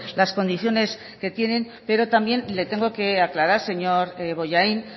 las condiciones que tienen pero también le tengo que aclarar señor bollain